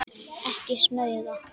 Ekki smuga!